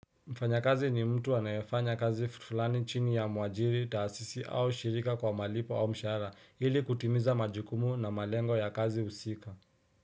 Mfanyakazi ni mtu anayefanya kazi fulani chini ya muajiri taasisi au shirika kwa malipo au mshahara ili kutimiza majikumu na malengo ya kazi husika.